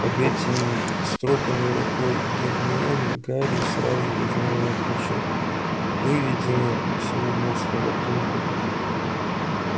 под этими строками рукой гермионы гарри сразу узнал её почерк выведено всего одно слово трубы